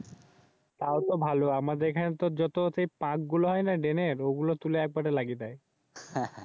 তাও তো ভালো। আমাদের এখানে তো যে পাক গুলো হয়না ড্রেনের সেই পাক গুলো তুলে লাগিয়ে দেয়।